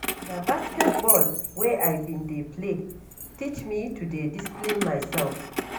Na basketball wey I bin dey play teach me to dey discipline mysef.